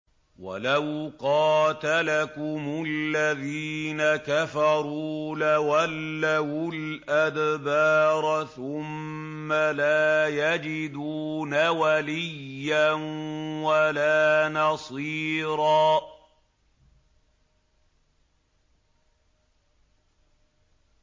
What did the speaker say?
وَلَوْ قَاتَلَكُمُ الَّذِينَ كَفَرُوا لَوَلَّوُا الْأَدْبَارَ ثُمَّ لَا يَجِدُونَ وَلِيًّا وَلَا نَصِيرًا